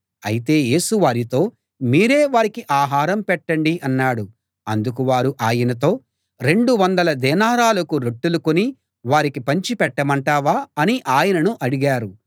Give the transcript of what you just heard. అయితే యేసు వారితో మీరే వారికి ఆహారం పెట్టండి అన్నాడు అందుకు వారు ఆయనతో రెండు వందల దేనారాలకు రొట్టెలు కొని వారికి పంచి పెట్టమంటావా అని ఆయనను అడిగారు